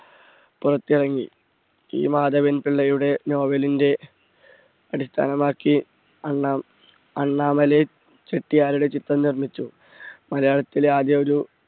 പുറത്തിറങ്ങി. E മാധവൻ പിള്ളയുടെ novel ന്റെ അടിസ്ഥാനമാക്കി അണ്ണ~അണ്ണാമലൈ ചെട്ടിയാരുടെ ചിത്രം നിർമ്മിച്ചു. മലയാളത്തിലെ ആദ്യ ഒരു